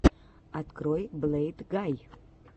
открой блэйдгай